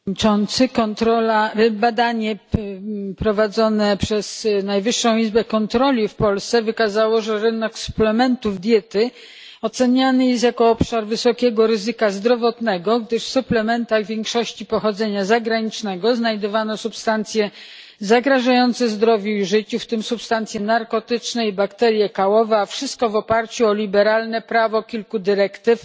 Panie Przewodniczący! Kontrola, badanie prowadzone przez Najwyższą Izbę Kontroli w Polsce wykazało, że rynek suplementów diety oceniany jest jako obszar wysokiego ryzyka zdrowotnego, gdyż w suplementach w większości pochodzenia zagranicznego znajdowano substancje zagrażające zdrowiu i życiu, w tym substancje narkotyczne i bakterie kałowe, a wszystko w oparciu o liberalne prawo kilku dyrektyw